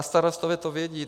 A starostové to vědí.